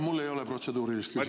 Mul ei ole protseduurilist küsimust.